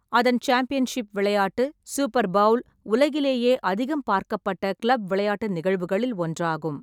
அதன் சாம்பியன்ஷிப் விளையாட்டு, Super Bowl, உலகிலேயே அதிகம் பார்க்கப்பட்ட கிளப் விளையாட்டு நிகழ்வுகளில் ஒன்றாகும்.